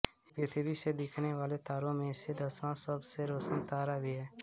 यह पृथ्वी से दिखने वाले तारों में से दसवा सब से रोशन तारा भी है